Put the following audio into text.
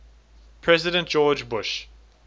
president george bush